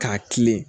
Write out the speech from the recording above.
K'a kilen